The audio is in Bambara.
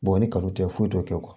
ni kaw tɛ foyi dɔn